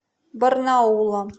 барнаула